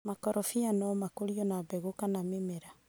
Makorofia no makũrio na mbegũ kana nĩmera.